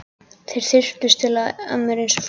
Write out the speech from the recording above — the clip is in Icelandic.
Þeir þyrptust að mér einsog flugur.